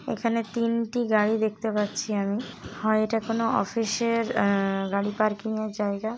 এখানে তিনটি গাড়ি দেখতে পাচ্ছি আমি হয় এটা কোন অফিস এর আ গাড়ি পার্কিং এর জায়গা।